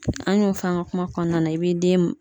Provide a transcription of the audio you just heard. An y'o f'an ka kuma kɔnɔna na i bi den